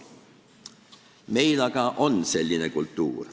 Meil aga on selline kultuur.